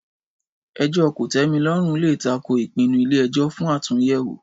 Ẹjọ́ kòtẹ́milọ́rùn lè tako ìpinnu ilé ẹjọ́ fún àtúnyẹ̀wò